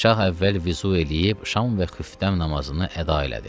Şah əvvəl vüzu eləyib şam və xüftə namazını əda elədi.